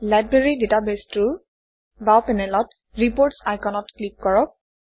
library ডাটাবেছটোৰ বাওঁ পেনেলত ৰিপোৰ্টছ আইকনত ক্লিক কৰক